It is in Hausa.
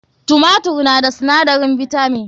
Tumatur na da sinadarin bitamin.